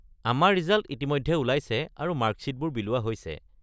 আমাৰ ৰিজাল্ট ইতিমধ্যে ওলাইছে আৰু মাৰ্কশ্বিটবোৰো বিলোৱা হৈছে।